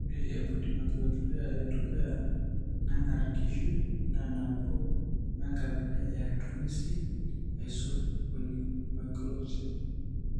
Ore epolymicrogyriae edukuya nang'ar kishu naa nabo ooenkabila eatua misil aisul epolymicrogyria.